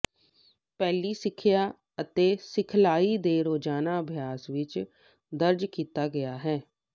ਪਹਿਲੀ ਸਿੱਖਿਆ ਅਤੇ ਸਿਖਲਾਈ ਦੇ ਰੋਜ਼ਾਨਾ ਅਭਿਆਸ ਵਿੱਚ ਦਰਜ ਕੀਤਾ ਗਿਆ